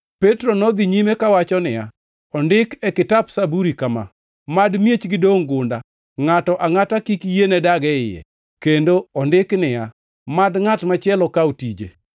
Petro nodhi nyime kawacho niya, “Ondik e Kitap Zaburi kama: “ ‘Mad miechgi dongʼ gunda; ngʼato angʼata kik yiene dag e iye,’ + 1:20 \+xt Zab 69:25\+xt* kendo ondik niya, “ ‘Mad ngʼat machielo kaw tije.’ + 1:20 \+xt Zab 109:8\+xt*